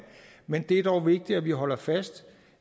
men det er dog vigtigt at vi holder fast